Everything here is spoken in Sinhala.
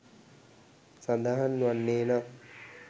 සඳහන් වන්නේ නම්